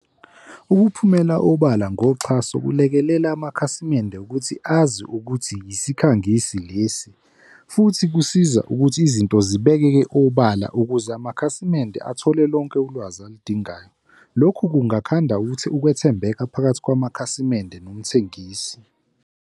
Ukuphumela obala ngoxhaso kulekelela amakhasimende ukuthi azi ukuthi yisikhangisi lesi futhi kusiza ukuthi izinto zibekeke obala ukuze amakhasimende athole lonke ulwazi aludingayo. Lokhu kungakhanda ukuthi ukwethembeka phakathi kwamakhasimende nomthengisi.